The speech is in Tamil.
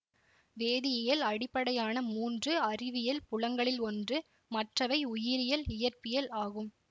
வேதியியல் அடிப்படையான மூன்று அறிவியல் புலங்களில் ஒன்று மற்றவை உயிரியல் இயற்பியல் ஆகும்